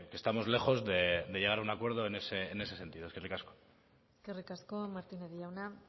estamos lejos de llegar a un acuerdo en ese sentido eskerrik asko eskerrik asko martínez jauna